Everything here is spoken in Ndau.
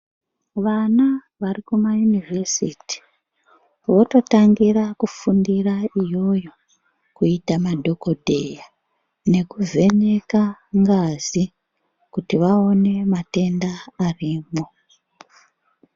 Vana vari kumayunivhesiti, vototangira kufundira iyoyo, kuita madhokodheya, nekuvheneka ngazi, kuti vaone matenda arimwo.